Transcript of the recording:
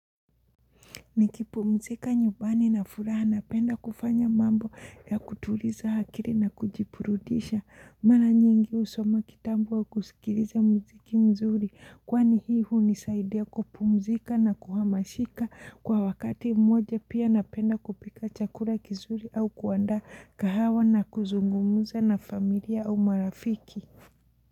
Nikipumzika nyumbani na furaha napenda kufanya mambo ya kutuliza akili na kujiburudisha. Mara nyingi husoma kitabu wa kusikiliza muziki mzuri. Kwani hii hunisaidia kupumzika na kuhamashika kwa wakati mmoja pia napenda kupika chakula kizuri au kuandaa kahawa na kuzungumuza na familia au marafiki.